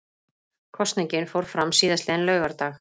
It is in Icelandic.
Kosningin fór fram síðastliðinn laugardag